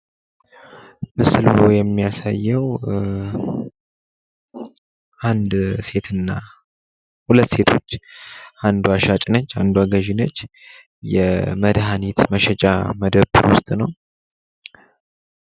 ምስሉ የማያሳየው አንድ ሴትና ሀለት ሴቶች አንዷ ሻጭ ነች አንዷ ገዥ ነች። የመድሃኒት መሸጫ መደብር ውስጥ ነው።